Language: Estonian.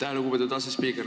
Aitäh, lugupeetud asespiiker!